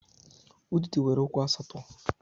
Udide nwere ụkwụ asatọ.